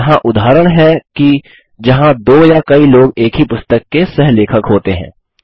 अब यहाँ उदाहरण हैं कि जहाँ दो या कई लोग एक ही पुस्तक के सह लेखक होते हैं